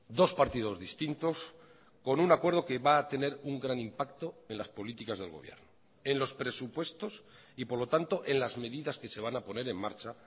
dos partidos distintos con un acuerdo que va a tener un gran impacto en las políticas del gobierno en los presupuestos y por lo tanto en las medidas que se van a poner en marcha